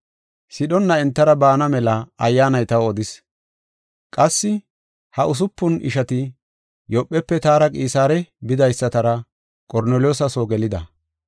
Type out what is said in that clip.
Sidhonna entara bana mela Ayyaanay taw odis. Qassi ha usupun ishati Yoophefe taara Qisaare bidaysatara Qorneliyoosa soo gelida.